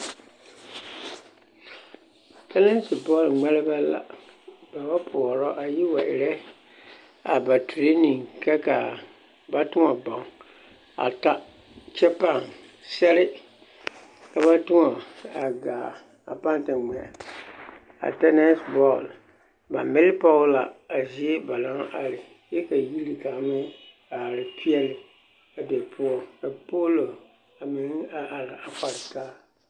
Tɛnɛse bɔl ŋmeɛrebɛ la, ba ba poɔrɔ a yi wa erɛ a ba tureni ka k'a ba tõɔ bɔŋ a ta kyɛ pãã sɛre ka ba tõɔ a gaa a pãã te ŋmɛ a tɛnɛse bɔɔl, ba mele pɔge la a zie ba naŋ are kyɛ ka yiri kaŋ meŋ are peɛle a be poɔ ka poolo a meŋ a are a kpare taa.